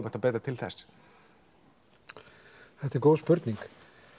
hægt að beita til þess þetta er góð spurning